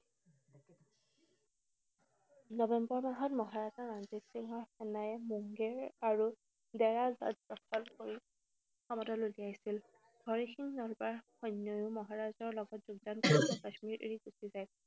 নৱেম্বৰ মাহত মহাৰাজা ৰঞ্জিত সিঙৰ সেনাই মুংগেৰ আৰু দেৱাল ৰাজ্য দখল কৰি সমতল উলিয়াইছিল। হৰি সিং নালৱাৰ সৈন্যও মহাৰাজাৰ লগত যোগদান কৰিব কাশ্মীৰ এৰি গুছি যায়।